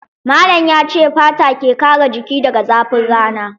Malam ya ce fata ke kare jiki daga zafin rana.